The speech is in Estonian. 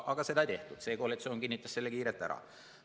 See koalitsioon kinnitas selle kiirelt ära.